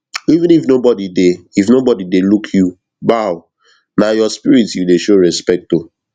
even if nobody dey if nobody dey look you bowna your spirit you dey show respect to